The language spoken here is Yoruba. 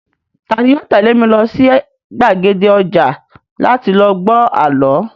Tani yoo tẹ̀lé mi lọ sí gbàgede ọjà láti lọ gbọ́ àlọ́?